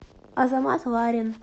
азамат ларин